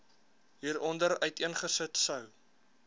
hieronder uiteengesit sou